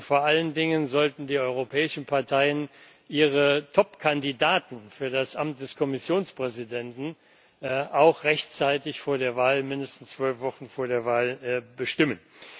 Vor allen Dingen sollten die europäischen Parteien ihre Top Kandidaten für das Amt des Kommissionspräsidenten auch rechtzeitig mindestens zwölf Wochen vor der Wahl bestimmen.